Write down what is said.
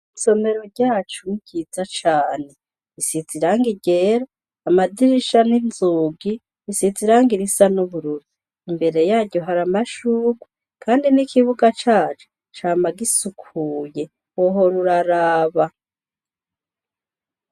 Isomero ryacu byiza cane isitsa irange iryera amadirisha n'inzugi isisa irange irisa n'ubururi imbere yayo hari amashurwa, kandi n'ikibuga cacu cama gisukuye wohora uraraba.